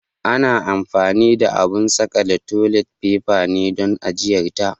Ana anfani da abun saƙale toli faifa ne don ajiyar ta.